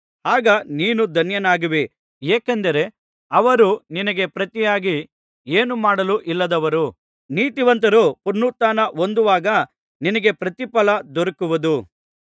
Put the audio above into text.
ಆಗ ನೀನು ಧನ್ಯನಾಗುವಿ ಏಕೆಂದರೆ ಅವರು ನಿನಗೆ ಪ್ರತಿಯಾಗಿ ಏನು ಮಾಡಲೂ ಇಲ್ಲದವರು ನೀತಿವಂತರು ಪುನರುತ್ಥಾನ ಹೊಂದುವಾಗ ನಿನಗೆ ಪ್ರತಿಫಲ ದೊರಕುವುದು